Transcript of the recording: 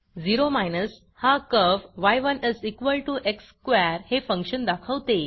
ओ हा curve y1x square हे function दाखवते